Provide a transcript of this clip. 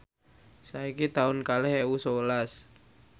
saiki taun kalih ewu sewelas